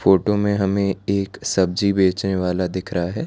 Photo मे हमे एक सब्जी बेचने वाला दिख रहा है।